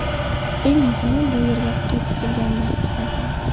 Eng muhimi, bu yerga qaytib kelganimdan xursandman.